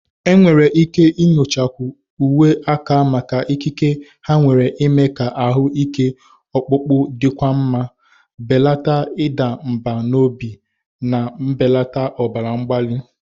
Enwere ike nyochakwu uwe aka maka ikike ha nwere ime ka ahụ ike ọkpụkpụ dịkwuo mma, belata ịda mbà n'obi, na mbelata ọbara mgbali.